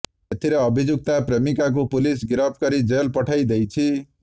ଏଥିରେ ଅଭିଯୁକ୍ତା ପ୍ରେମିକାକୁ ପୁଲିସ୍ ଗିରଫ କରି ଜେଲ୍ ପଠାଇ ଦେଇଛି